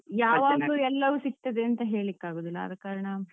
ಯಾವಾಗ್ಲೂ ಎಲ್ಲವೂ ಸಿಗ್ತದೇಂತ ಹೇಳ್ಳಿಕ್ಕಾಗುದಿಲ್ಲ ಆದಕಾರಣ,